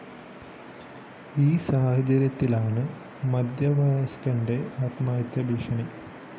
ഈ സാഹചര്യത്തിലാണ് മധ്യവസയ്കന്റെ ആത്മഹത്യാ ഭീഷണി